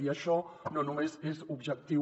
i això no només és objectiu